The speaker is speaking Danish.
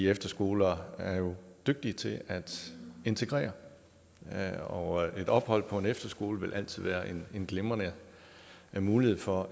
efterskolerne er jo dygtige til at integrere og et ophold på en efterskole vil altid være en glimrende mulighed for